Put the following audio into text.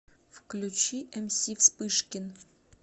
включи эмси вспышкин